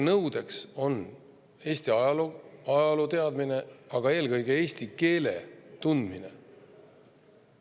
Nõudeks on olnud Eesti ajaloo teadmine, aga eelkõige eesti keele tundmine.